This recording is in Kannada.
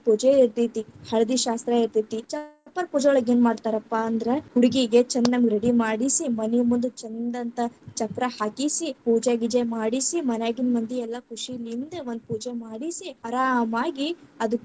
ಪೂಜೆ ಇರ್ತೇತಿ, ಹಳದಿ ಶಾಸ್ತ್ರ ಇರ್ತೇತಿ, ಚಪ್ಪರ ಪೂಜೆ ಒಳಗ್‌ ಏನ್‌ ಮಾಡ್ತಾರಪ್ಪಾ ಅಂದ್ರ ಹುಡುಗಿಗೆ ಛಂದಂಗ್‌ ready ಮಾಡಿಸಿ, ಮನಿಮುಂದ ಚಂದಂಥಾ ಚಪ್ಪರಾ ಹಾಕಿಸಿ, ಪೂಜೆ ಗೀಜೆ ಮಾಡಿಸಿ, ಮನ್ಯಾಗಿನ್ನ ಮಂದಿ ಎಲ್ಲಾ ಖುಷಿಲಿಂದ್‌ ಒಂದ ಪೂಜೆ ಮಾಡಿಸಿ, ಅರಾಮಾಗಿ ಅದು